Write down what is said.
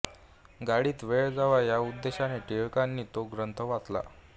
गाडीत वेळ जावा या उद्देशाने टिळकांनी तो ग्रंथ वाचला